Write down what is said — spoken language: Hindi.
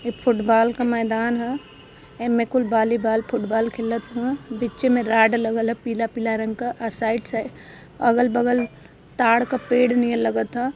एक फुटबॉल का मैदान ह। एमें कुल बाली बाल फुटबॉल खेलत ह व। बीच मे रॉड लगल ह पीला-पीला रंग का अ साइड से अगल-बगल ताड का पेड़ नियर लगत ह।